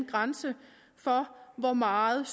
grænse for hvor meget